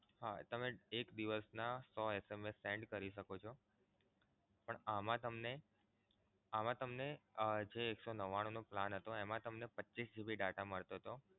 હા તમે એક દિવસના સો SMS send કરી શકો છો. પણ આમાં તમને આમાં તમને જે એક સો નવ્વાણું નો plan હતો એમા તમને પચ્ચીસ GB data મળતો હતો.